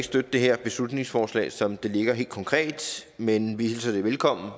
støtte det her beslutningsforslag som det ligger helt konkret men vi hilser det velkommen